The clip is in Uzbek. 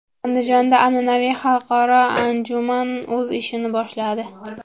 Andijonda an’anaviy xalqaro anjuman o‘z ishini boshladi.